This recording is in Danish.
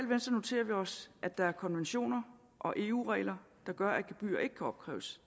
venstre noterer vi os at der er konventioner og eu regler der gør at gebyrer ikke kan opkræves